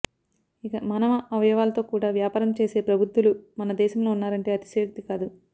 ఇక మానవ అవయవాలతో కూడా వ్యాపారం చేసే ప్రబుద్ధులు మన దేశంలో ఉన్నారంటే అతిశయోక్తి కాదు